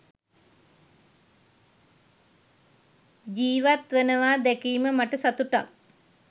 ජීවත්වනවා දැකීම මට සතුටක්.